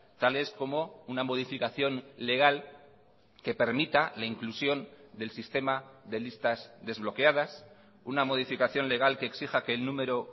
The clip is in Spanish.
tales como una modificación legal que permita la inclusión del sistema de listas desbloqueadas una modificación legal que exija que el número